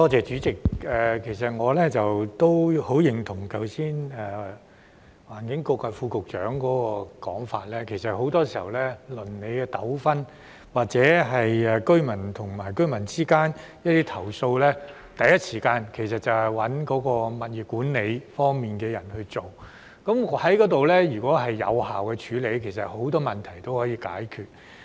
主席，我十分認同剛才環境局副局長的說法，很多時候，鄰里糾紛或是居民之間的投訴，第一時間找物業管理方面的人處理，如果這能得到有效處理，很多問題也可以解決。